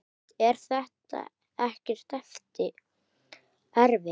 Hrund: Er þetta ekkert erfitt?